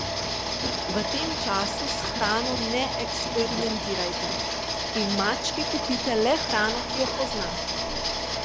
V tem času s hrano ne eksperimentirajte in mački kupite le hrano, ki jo pozna.